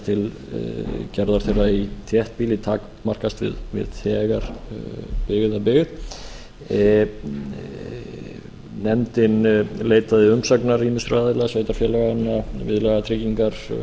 til gerða þeirra í þéttbýli takmarkast nú þegar við byggða byggð nefndin leitaði umsagnar ýmissa aðila sveitarfélaganna viðlagatryggingar